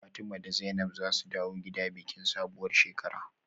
Fatima da Zainab zasu dawo gida bikin sabuwar shekara